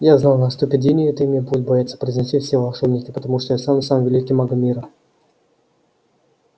я знал наступит день и это имя будут бояться произносить все волшебники потому что я стану самым великим магом мира